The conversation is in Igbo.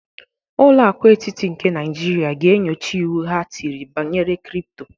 Ụlọ akụ etịtị nke Naijiria ga-enyocha iwu ha tịrị banyere kripto